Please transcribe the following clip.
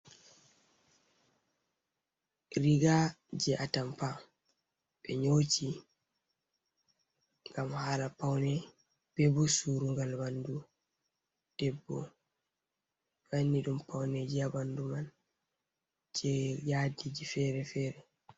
Riga jei atampa, ɓe nyooti ngam haala paune be bo surugal ɓandu debbo, wanni ɗum pauneji ha ɓandu man jei yadiiji fere-fere.